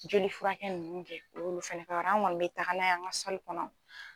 Joli furakɛ nunnu kɛ o y'olu ka yɔrɔ an kɔni be taga n'a ye an ka sali kɔnɔ